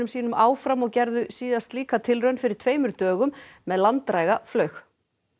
sínum áfram og gerðu síðast slíka tilraun fyrir tveimur dögum með langdræga flaug